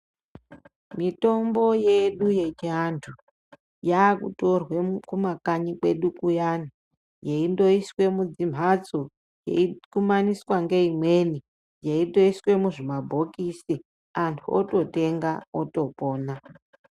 Mitombo yedu yechiantu yakutorwe kumakanyi kwedu kuyani yeindoiswa mudzimhatso yeikumaniswa neimweni yeitoiswa muzvimabhokisi antu ototenga otopona.